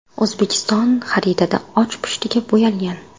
O‘zbekiston xaritada och pushtiga bo‘yalgan.